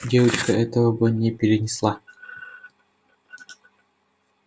девочка этого бы не перенесла